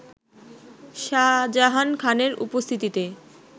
শাজাহান খানের উপস্থিতিতে